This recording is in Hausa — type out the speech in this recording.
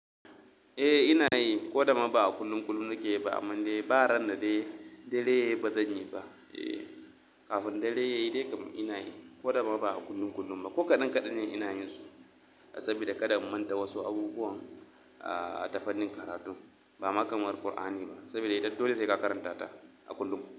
Eh ina yi, ko da ma ba a kullum kullum na ke yi ba, amma dai ba ran da dai dare yayi ba zan yi ba. Eh, kafin dare yayi dai kam ina yi, ko da ma ba a kullum kullum ba. Ko kaɗan kaɗan ne ina yin su saboda kaɗa in manta wasu abubuwan a tafanin karatu. Ba makamar Kur'ani ba saboda ita dole sai ka karanta ta a kullum kullum.